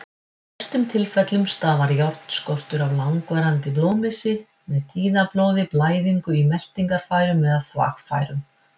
Í flestum tilfellum stafar járnskortur af langvarandi blóðmissi, með tíðablóði, blæðingu í meltingarfærum eða þvagfærum.